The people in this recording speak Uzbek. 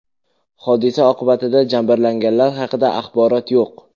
Hodisa oqibatida jabrlanganlar haqida axborot yo‘q.